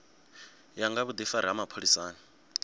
ya nga vhudifari ha mapholisani